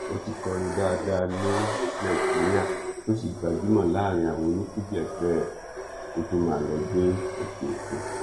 ó ti kọrin dáadáa ní nàìjíríà tó sì gbajúmọ láàrin àwọn onífuji ẹgbẹ ẹ kó tóó máa lọọ gbé òkèòkun